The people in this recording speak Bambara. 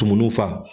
Tumuniw fa